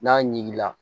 N'a ɲiginla